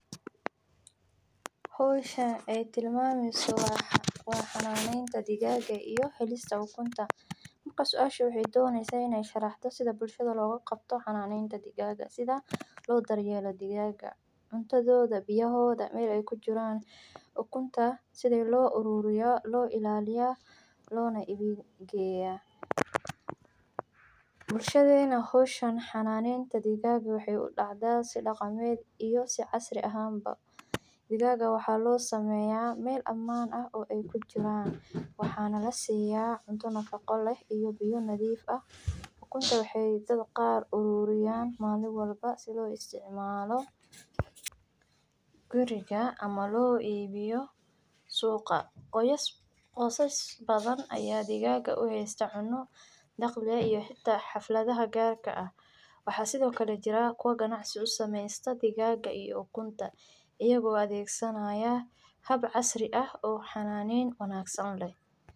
Digaagu waxay u badan tahay inay ukumo marka ay hesho cunto ku filan oo ay ku jirto baruur, biyo, iyo deegaanka qabow, sidaa darteed waxay ukumaa ukun ayadoo ahaysa mid aad u wanaagsan oo ay ku raaxaysato xeryaha ama qolka ay ku nooshahay, mararka qaarkoodna waxay ukumaa ukun ayadoo duushay meel qoto dheer oo ay ka ilaalisay xayawaanka kale ee dagaalka, ukunta ay sameyso waxay ku jirtaa dhowr maalmood ka dibna waxay ka soo baxdaa ukunta ayadoo ah mid cagaaran oo ay ku soo bixiso digaagta yar yar ee ay u dhalinayo, mararka qaarkoodna waxay ukumaa ukun badan oo ay ku sameyso toddobo maalmood gudahood.